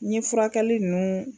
N ɲe furakɛli nunnu.